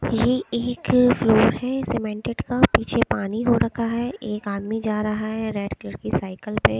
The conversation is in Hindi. यह एक लोहे सीमेंटेड का पीछे पानी हो रखा है एक आदमी जा रहा है रेड कलर की साइकिल पे।